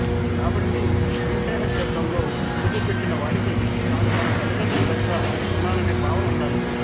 కాబట్టి శ్రీశైల క్షేత్రంలో అడుగు పెట్టిన వాడికి తాను తన తల్లిదండ్రుల దగ్గర ఉన్నాననే భావన ఉండాలి